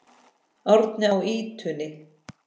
Árni á ýtunni.